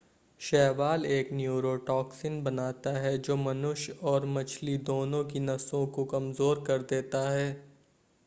शैवाल एक न्यूरोटॉक्सिन बनाता है जो मनुष्य और मछली दोनों की नसों को कमज़ोर कर सकता है